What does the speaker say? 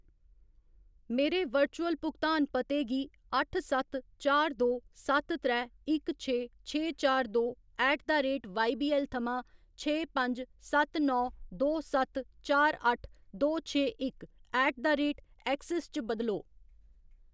मेरे वर्चुअल भुगतान पते गी अट्ठ सत्त चार दो सत्त त्रै इक छे छे चार दो ऐट द रेट वाईबीऐल्ल थमां छे पंज सत्त नौ दो सत्त चार अट्ठ, दो छे इक ऐट द रेट ऐक्सिस च बदलो।